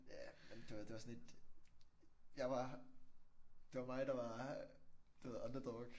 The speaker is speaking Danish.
Ja men det var det var sådan lidt jeg var det var mig der var du ved the underdog